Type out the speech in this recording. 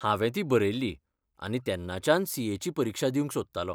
हांवें ती बरयिल्ली आनी तेन्नाच्यान सी.ए. ची परिक्षा दिवंक सोदतालों .